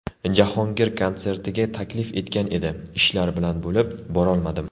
Jahongir konsertiga taklif etgan edi, ishlar bilan bo‘lib, borolmadim.